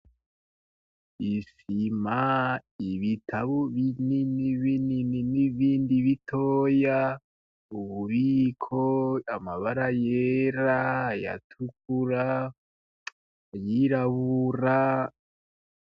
Isima, ibitabu Binini binini n'ibindi bitoya, ububiko, amabara yera, ayatukura, ayirabura.